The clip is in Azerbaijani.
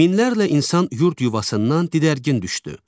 Minlərlə insan yurd yuvasından didərgin düşdü.